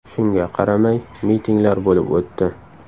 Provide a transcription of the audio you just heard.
Shunga qaramay, mitinglar bo‘lib o‘tdi.